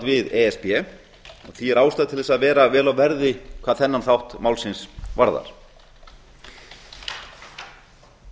við e s b því er ástæða til að vera vel á verði hvað þennan þátt málsins varðar það